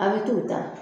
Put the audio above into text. A' bɛ t'o ta